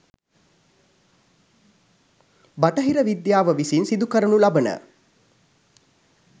බටහිර විද්‍යාව විසින් සිදු කරනු ලබන